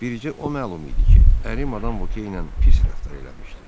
Bircə o məlum idi ki, əri Madam Voque ilə pis rəftar eləmişdi.